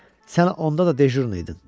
Sən onda da dejurn idin.